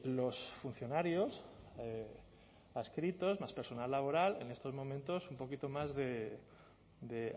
los funcionarios adscritos más personal laboral en estos momentos un poquito más de